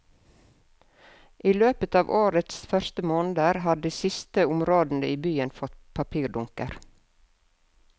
I løpet av årets første måneder har de siste områdene i byen fått papirdunker.